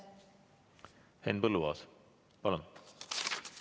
Henn Põlluaas, palun!